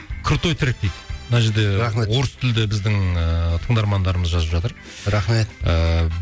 крутой трэк дейді мына жерде рахмет орыс тілді біздің ыыы тыңдармандарымыз жазып жатыр рахмет ыыы